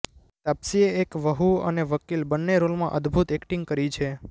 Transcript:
તાપસીએ એક વહુ અને વકીલ બન્ને રોલમાં અદ્દભુત એક્ટિંગ કરી છે